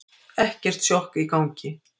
Ekkert sjokk í gangi.